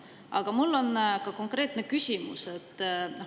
Aga mul on ka konkreetne küsimus.